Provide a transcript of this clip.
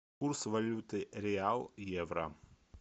курс валюты реал евро